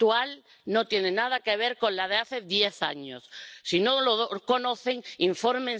Allerdings und das möchte ich an dieser Stelle auch anmahnen sollten wir dabei nicht übers Ziel hinausschießen.